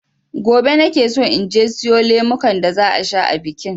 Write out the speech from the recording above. Gobe nakeso inje in siyo lemukan da za a sha a bikin.